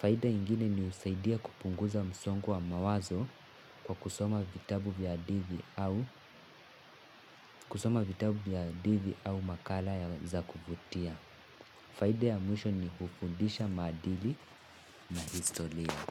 Faida ingine ni husaidia kupunguza msongo wa mawazo kwa kusoma vitabu vya hadithi au makala ya za kuvutia. Faida ya mwisho ni kufundisha maadili na historia.